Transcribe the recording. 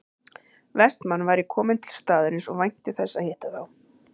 Vestmann væri kominn til staðarins og vænti þess að hitta þá